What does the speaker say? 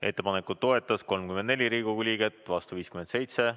Ettepanekut toetas 34 Riigikogu liiget, vastu oli 57.